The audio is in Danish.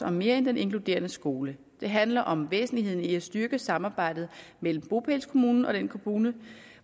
om mere end den inkluderende skole det handler om væsentligheden i at styrke samarbejdet mellem bopælskommunen og den kommune